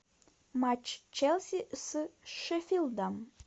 матч челси с шеффилдом